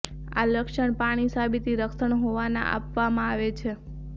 આ લક્ષણ પાણી સાબિતી રક્ષણ હોવાના આપવામાં આવે છે